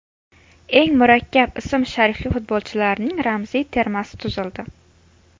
Eng murakkab ism-sharifli futbolchilarning ramziy termasi tuzildi.